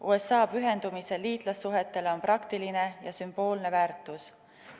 USA pühendumisel liitlassuhetele on praktiline ja sümboolne väärtus.